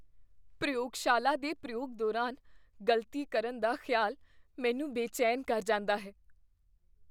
ਪ੍ਰਯੋਗਸ਼ਾਲਾ ਦੇ ਪ੍ਰਯੋਗ ਦੌਰਾਨ ਗ਼ਲਤੀ ਕਰਨ ਦਾ ਖਿਆਲ ਮੈਨੂੰ ਬੇਚੈਨ ਕਰ ਜਾਂਦਾ ਹੈ।